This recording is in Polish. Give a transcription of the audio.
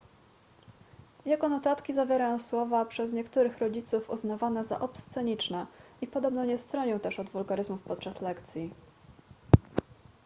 jego notatki zawierają słowa przez niektórych rodziców uznawane za obsceniczne i podobno nie stronił też od wulgaryzmów podczas lekcji